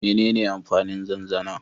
Menene amfanin zanzana?